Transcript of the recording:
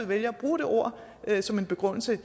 vælger at bruge det ord som begrundelse